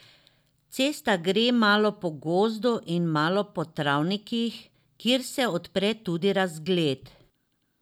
Cesta gre malo po gozdu in malo po travnikih, kjer se odpre tudi razgled.